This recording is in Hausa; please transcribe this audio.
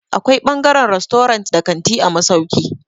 Akwai ɓangaren rastorant da kanti a masauki.